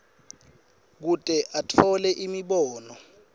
kute atfole imibono